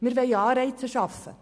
Wir wollen Anreize schaffen.